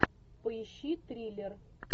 поищи триллер